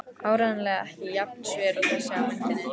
Áreiðanlega ekki jafn sver og þessi á myndinni.